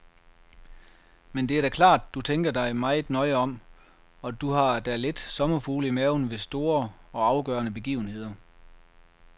Men det er da klart, du tænker dig meget nøje om, og du har da lidt sommerfugle i maven ved store og afgørende begivenheder.